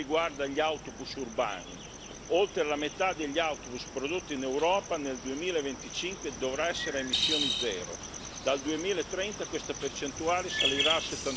La prima riguarda gli autobus urbani oltre la metà degli autobus prodotti in Europa nel 2025 dovrà essere a emissioni zero e dal 2030 questa percentuale salirà a